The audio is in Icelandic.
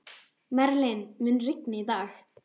Merlin, mun rigna í dag?